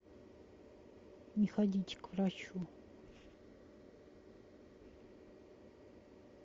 не ходите к врачу